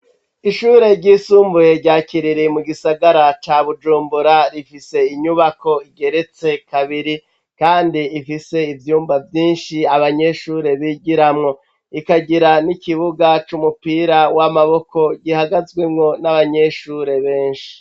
Ishure ryisumbuye, rya Kiriri, mu gisagara ca Bujumbura, rifise inyubako igeretse kabiri; kandi ifise ivyumba vyinshi, abanyeshure bigiramwo; ikagira n'ikibuga c'umupira w'amaboko, gihagazwemwo n'abanyeshure benshi.